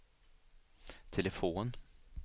telefon